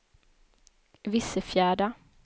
Vissefjärda